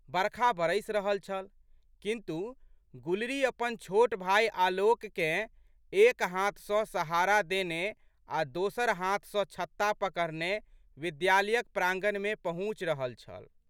बरखा बरसि रहल छल किन्तु, गुलरी अपन छोट भाय आलोककेँ एक हाथ सँ सहारा देने आ' दोसर हाथ सँ छत्ता पकड़ने विद्यालयक प्रांगणमे पहुँचि रहल छल।